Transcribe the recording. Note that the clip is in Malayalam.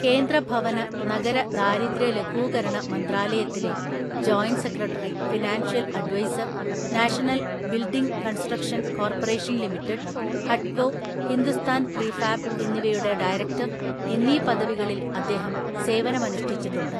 കേന്ദ്ര ഭവന, നഗര ദാരിദ്ര്യ ലഘൂകരണ മന്ത്രാലയത്തിലെ joint secretary financial‍ adviser‍, national‍ building construction‍ corporation‍ limited, ഹഡ്കോ, ഹിന്ദുസ്ഥാന്‍ പ്രീഫാബ് എന്നിവയുടെ ഡയറക്ടര്‍ എന്നീ പദവികളില്‍ അദ്ദേഹം സേവനമനുഷ്ഠിച്ചിട്ടുണ്ട്.